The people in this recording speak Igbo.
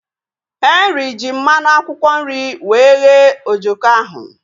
Henry ji mmanụ akwụkwọ nri wee ghee ojoko ahu